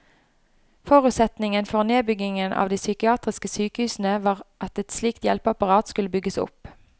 Forutsetningen for nedbyggingen av de psykiatriske sykehusene var at et slikt hjelpeapparat skulle bygges opp.